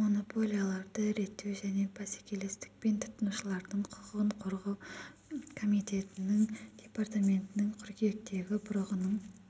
монополияларды реттеу және бәсекелестік пен тұтынушылардың құқығын қорғау комитетінің департаментінің қыркүйектегі бұрығының